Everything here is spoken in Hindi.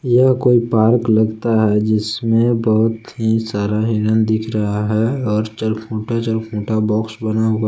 यह कोई पार्क लगता है जिसमे बहुत ही सारा हिरन दिख रहा है और चरखुटा चरखुटा बॉक्स बना हुआ--